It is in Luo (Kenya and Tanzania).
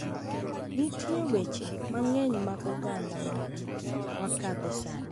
Nitie weche mang’eny mag oganda ma wakadhe sani,